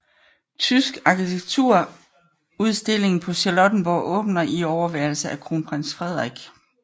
Tysk arkitekturudstilling på Charlottenborg åbner i overværelse af kronprins Frederik